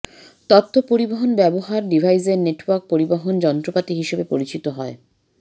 তথ্য পরিবহন ব্যবহার ডিভাইসের নেটওয়ার্ক পরিবহন যন্ত্রপাতি হিসেবে পরিচিত হয়